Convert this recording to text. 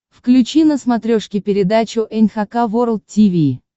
включи на смотрешке передачу эн эйч кей волд ти ви